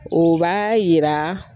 O b'a yira